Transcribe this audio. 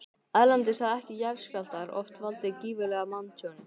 Erlendis hafa jarðskjálftar oft valdið gífurlegu manntjóni.